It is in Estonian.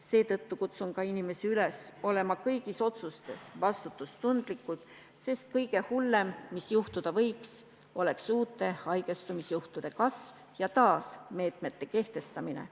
Seetõttu kutsun inimesi üles olema kõigis otsustes vastutustundlikud, sest kõige hullem, mis juhtuda võiks, oleks uute haigestumisjuhtude arvu kasv ja taas meetmete kehtestamine.